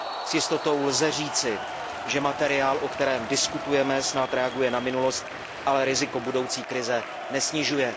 S jistotou lze říci, že materiál, o kterém diskutujeme, snad reaguje na minulost, ale riziko budoucí krize nesnižuje.